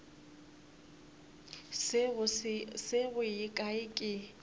se go ye kae ke